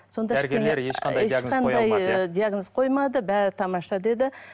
сонда диагноз қоймады бәрі тамаша деді